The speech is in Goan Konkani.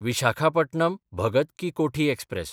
विशाखापटणम–भगत की कोठी एक्सप्रॅस